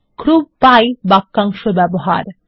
group by বাক্যাংশ ব্যবহার